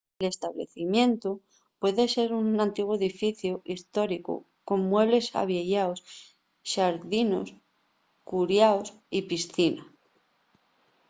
l'establecimientu puede ser un antiguu edificiu hestóricu con muebles avieyaos xardinos curiaos y piscina